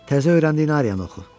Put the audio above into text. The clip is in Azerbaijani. Təzə öyrəndiyin Ariyanı oxu.